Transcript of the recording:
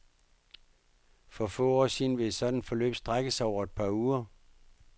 For få år siden ville et sådant forløb strække sig over et par uger.